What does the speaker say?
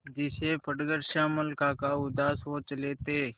जिसे पढ़कर श्यामल काका उदास हो चले थे